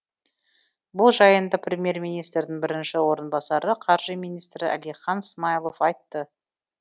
бұл жайында премьер министрдің бірінші орынбасары қаржы министрі әлихан смайылов айтты